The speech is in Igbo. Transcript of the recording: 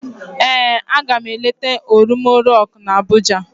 Ee, aga m eleta Olumọ rọk na Abụja